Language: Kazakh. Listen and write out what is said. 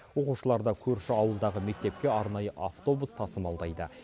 оқушыларды көрші ауылдағы мектепке арнайы автобус тасымалдайды